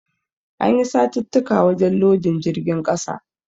Ana yi satittika wajen lodin jirgin ƙasa.